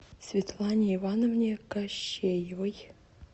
светлане ивановне кащеевой